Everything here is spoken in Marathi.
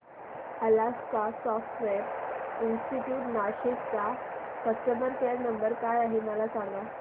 अलास्का सॉफ्टवेअर इंस्टीट्यूट नाशिक चा कस्टमर केयर नंबर काय आहे मला सांग